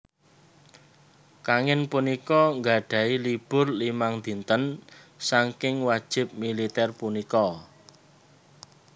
Kangin punika gadhahi libur limang dinten saking wajib militer punika